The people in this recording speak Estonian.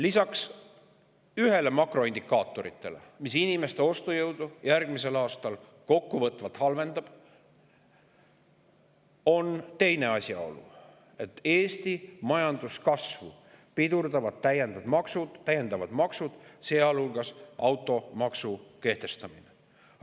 Lisaks ühele makroindikaatorile, mis inimeste ostujõudu järgmisel aastal kokkuvõtvalt halvendab, on teine asjaolu: Eesti majanduskasvu pidurdavad täiendavad maksud, sealhulgas automaksu kehtestamine.